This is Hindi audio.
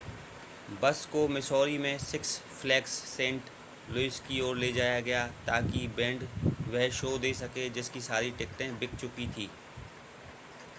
बस को मिसौरी में सिक्स फ़्लैग्स सेंट लुइस की ओर ले जाया गया ताकि बैंड वह शो दे सके जिसकी सारी टिकटें बिक चुकी थी